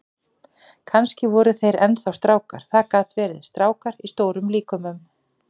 Kannski voru þeir enn þá strákar, það gat verið, strákar í stórum líkömum.